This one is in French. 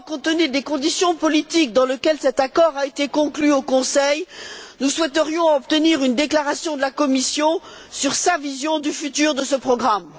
Simplement, compte tenu des conditions politiques dans lesquelles cet accord a été conclu au Conseil, nous souhaiterions obtenir une déclaration de la Commission sur sa vision de l'avenir de ce programme.